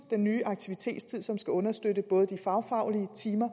den nye aktivitetstid som skal understøtte både de fagfaglige timer